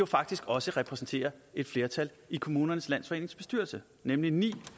faktisk også repræsenterer et flertal i kommunernes landsforenings bestyrelse nemlig ni